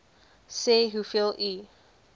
sê hoeveel u